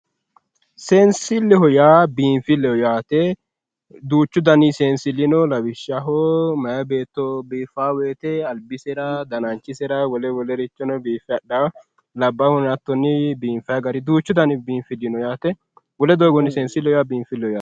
Seensilleho yaa biinfilleho yaate duuchu Dani seensilli no lawishshaho meya beetto biiffaawo woyte albisera dananchisera wole wolerichono biiffe hadhawo labbaahuno hatto biife haraa duuchu Dani niinfilli no seensilleho yaa biinfilleho yaate